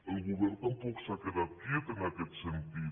el govern tampoc s’ha quedat quiet en aquest sentit